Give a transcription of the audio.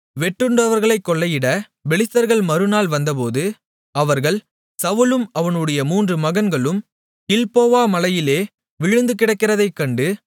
வெட்டுண்டவர்களை கொள்ளையிட பெலிஸ்தர்கள் மறுநாள் வந்தபோது அவர்கள் சவுலும் அவனுடைய மூன்று மகன்களும் கில்போவா மலையிலே விழுந்துகிடக்கிறதைக் கண்டு